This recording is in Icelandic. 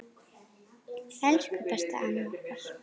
Elsku besta amma okkar.